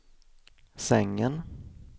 sängen